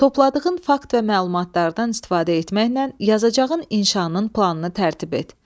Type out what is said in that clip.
Topladığın fakt və məlumatlardan istifadə etməklə yazacağın inşanın planını tərtib et.